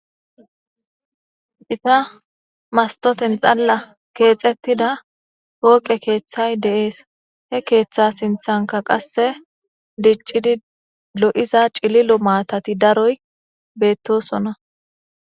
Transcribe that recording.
ita mastoten xalla keexettida hooqe keeththay deees he keeththa sinthanka qasse diccidi lo7iza cililo maatati daroy beettosona